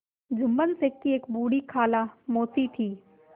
जुम्मन शेख की एक बूढ़ी खाला मौसी थी